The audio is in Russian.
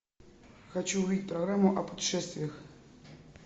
хочу увидеть программу о путешествиях